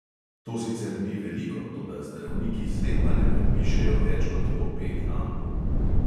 To sicer ni veliko, toda zdravniki zlepa ne predpišejo več kot po pet ampul.